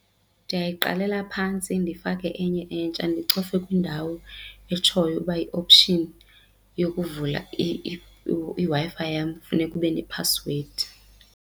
Ndiyayiqalela phantsi ndifake enye entsha ndicofe kwindawo etshoyo uba i-option yokuvula iWi-Fi yam funeka ube nephasiwedi.